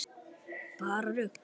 Bara rugl.